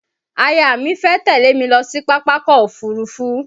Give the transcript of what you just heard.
Aya mi fẹ́ tẹ̀lé mi lọ sí Pápákọ̀ Òfurufú.